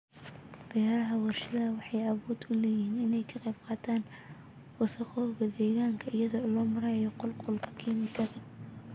Beeraha warshaduhu waxay awood u leeyihiin inay ka qayb qaataan wasakhowga deegaanka iyada oo loo marayo qulqulka kiimikada.